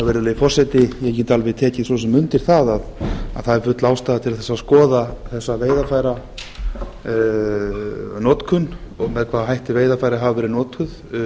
virðulegi forseti ég get alveg tekið svo sem undir það að það er full ástæða til þess að skoða þessa veiðarfæranotkun og með hvaða hætti veiðarfæri hafa verið notuð